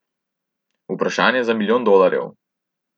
Vprašanje za milijon dolarjev.